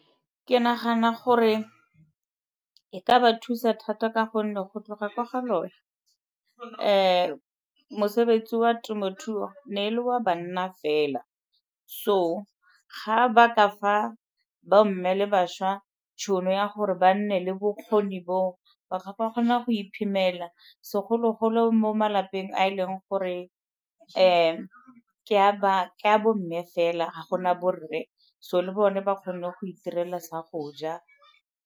Ke nagana gore e ka ba thusa thata ka gonne go tloga ko ga loe mosebetsi wa temothuo ne e le wa banna fela, so ga ba ka fa bomme le bašwa tšhono ya gore ba nne le bokgoni bo, ba ka kgona go iphemela segologolo mo malapeng a e leng gore ke a bomme fela ga gona borre so le bone ba kgone go itirela sa go ja.